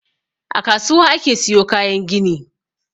A kasuwa ake siyo kayan gini.